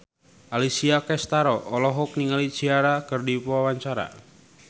Alessia Cestaro olohok ningali Ciara keur diwawancara